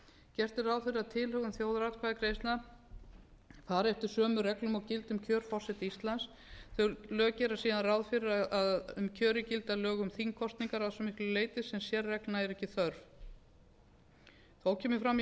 gert er ráð fyrir að tilhögun þjóðaratkvæðagreiðslna fari eftir sömu reglum og gilda um kjör forseta íslands þau lög gera síðan ráð fyrir að um kjörin gilda lög um þingkosningar að svo miklu leyti sem sérreglna er ekki þörf þó kemur fram í